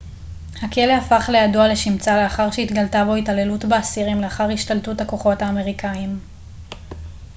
הכלא הפך לידוע לשמצה לאחר שהתגלתה בו התעללות באסירים לאחר השתלטות הכוחות האמריקאיים